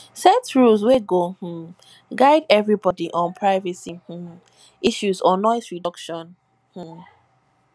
set rules wey go um guide everybody on privacy um issues or noise reduction um